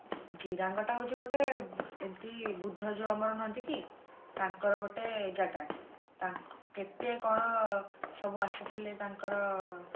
ଜିରାଙ୍ଗ ଟା ହଉଛି ଗୋଟେ ଏମତି ବୁଦ୍ଧ ଯୋଉ ଆମର ନୁହନ୍ତି କି ତାଙ୍କର ଗୋଟେ ଜାଗା ତା କେତେ କଣ ସବୁ ଆସିଥିଲେ ତାଙ୍କର